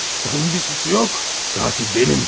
Onun bir suçu yox, qatil mənim.